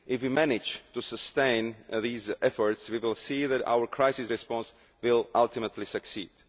If we manage to sustain these efforts we will see that our crisis response will ultimately succeed.